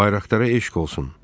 Bayraqdara eşq olsun.